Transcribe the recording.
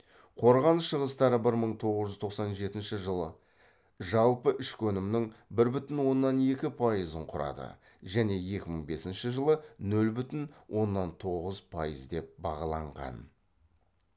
қорғаныс шығыстары бір мың тоғыз жүз тоқсан жетінші жылы жалпы ішкі өнімнің бір бүтін оннан екі пайызын құрады және екі мың бесінші жылы нөл бүтін оннан тоғыз пайыз деп бағаланған